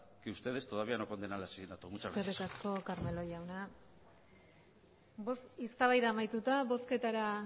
que ustedes todavía no condenan el asesinato muchas gracias eskerrik asko carmelo jauna eztabaida amatuta bozketara